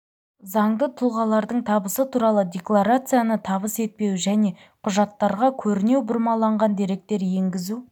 заңды тұлғалардың табысы туралы декларацияны табыс етпеуі және құжаттарға көрінеу бұрмаланған деректер енгізу